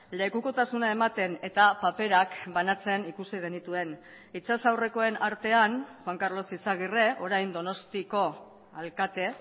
lekukotasuna ematen eta paperak banatzen ikusi genituen itsas aurrekoen artean juan karlos izagirre orain donostiko alkate